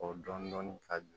O dɔni dɔni ka di